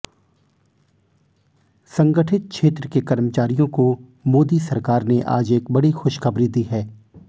संगठित क्षेत्र के कर्मचारियों को मोदी सरकार ने आज एक बड़ी खुशखबरी दी है